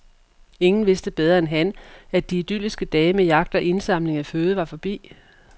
Ingen vidste bedre end han , at de idylliske dage med jagt og indsamling af føde var forbi.